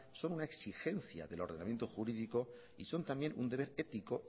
son una exigencia del ordenamiento jurídico y son también un deber ético